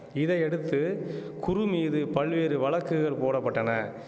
இதையடுத்து குரு மீது பல்வேறு வழக்குகள் போட பட்டன